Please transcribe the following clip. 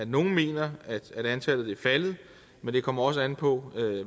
nogle mener at antallet vil falde men det kommer også an på